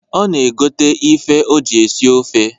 Ọ na egote ife o ji esi ofe.